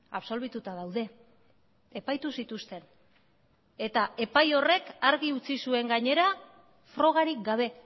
absolbituta daude epaitu zituzten eta epai horrek argi utzi zuen gainera frogarik gabe